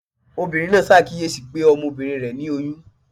obírín naa sàkiyesí pe Ọmọbinrin re ni oyún.